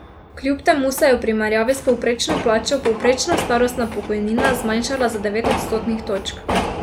Kljub temu se je v primerjavi s povprečno plačo povprečna starostna pokojnina zmanjšala za devet odstotnih točk.